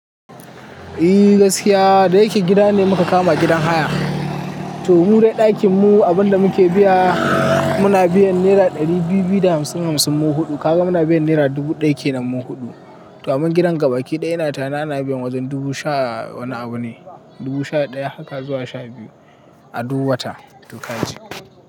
Eh gaskiya da yake gida ne muka kama gidan haya. To mu dai ɗakin mu abun da muke biya muna biyan nera ɗari biyu-biyu da hamsin hamsin mu huɗu. Kaga muna biyan nera dubu ɗaya kenan mu huɗu. To amma gidan gabaƙi ɗaya yana tana biyan wajen dubu sha wani abu ne, dubu sha ɗaya haka zuwa sha biyu a duk wata tokaji.